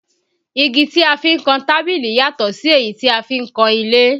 Igi tí a fi ń kan tábìlì yàtò sí èyí tí a fi ń kan ilé